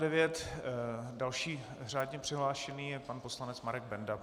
Další řádně přihlášený je pan poslanec Marek Benda.